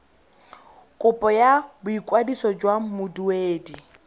kopo ya boikwadiso jaaka moduedi